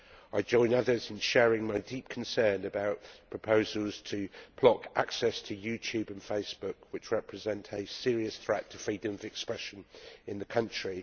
I join others in sharing my deep concern about proposals to block access to YouTube and Facebook, which represent a serious threat to freedom of expression in the country.